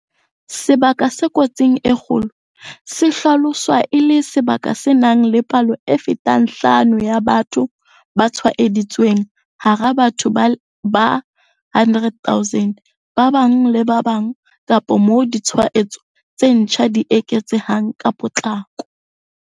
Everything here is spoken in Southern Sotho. Sebaka se kotsing e kgolo se hlaloswa e le sebaka se nang le palo e fetang bohlano ya batho ba tshwaeditsweng hara batho ba 100 000 ba bang le ba bang kapa moo ditshwaetso tse ntjha di eketsehang ka potlako.